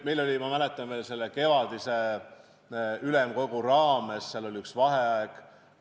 Meil oli, ma mäletan, veel kevadise ülemkogu raames üks vaheaeg.